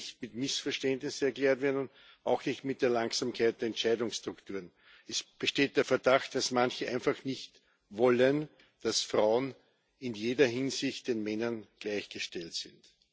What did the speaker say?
Das kann nicht mit einem Missverständnis erklärt werden, auch nicht mit der Langsamkeit der Entscheidungsstrukturen. Es besteht der Verdacht, dass manche einfach nicht wollen, dass Frauen in jeder Hinsicht den Männern gleichgestellt sind.